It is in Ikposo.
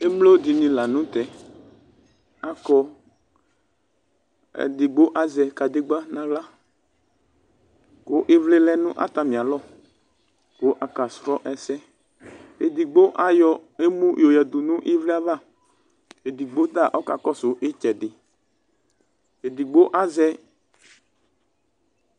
Emlo dɩnɩ la nʋ tɛ akɔ. Edigbo azɛ kadegbǝ nʋ aɣla kʋ ɩvlɩ lɛ nʋ atamɩalɔ kʋ akasrɔ ɛsɛ. Edigbo ayɔ emu yɔyǝdu nʋ ɩvlɩ ava. Edigbo ta ɔkakɔsʋ ɩtsɛdɩ. Edigbo azɛ ...